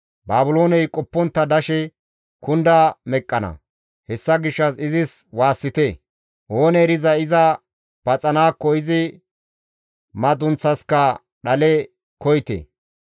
Baabilooney qoppontta dashe kunda meqqana; hessa gishshas izis waassite! Oonee erizay iza paxanaakko izi madunththaska dhale koyite.